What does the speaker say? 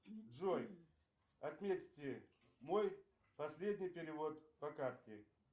джой отметьте мой последний перевод по карте